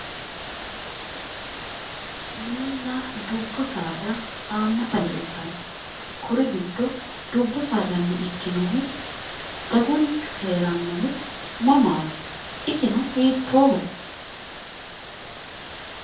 Mininna dubbu saada haammata leeltanno. kuri giddo dubbu saadanni ikkinohu dagunchu heerannohu mamaati? isino hiittooho?